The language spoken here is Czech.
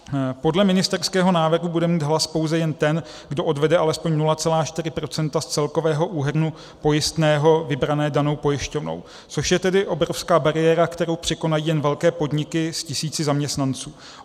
Podle ministerského návrhu bude mít hlas pouze ten, kdo odvede alespoň 0,4 % z celkového úhrnu pojistného vybrané danou pojišťovnou, což je tedy obrovská bariéra, kterou překonají jen velké podniky s tisíci zaměstnanců.